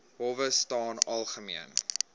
howe staan algemeen